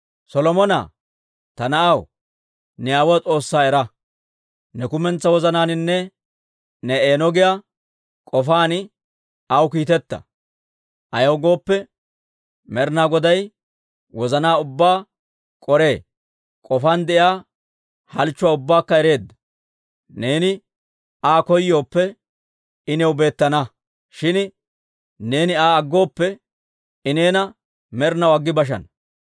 «Solomona, ta na'aw, ne aawuwaa S'oossaa era. Ne kumentsaa wozanaaninne ne eeno giyaa k'ofaan aw kiiteta. Ayaw gooppe, Med'inaa Goday wozanaa ubbaa k'oree; k'ofaan de'iyaa halchchuwaa ubbaakka ereedda. Neeni Aa koyooppe, I new beettana; shin neeni Aa aggooppe, I neena med'inaw aggi bashana.